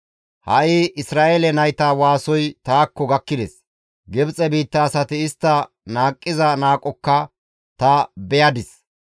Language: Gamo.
Ha7i Isra7eele nayta waasoy taakko gakkides; Gibxe biitta asati istta qohiza qohokka ta beyadis;